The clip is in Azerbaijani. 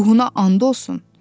Ruhuna and olsun.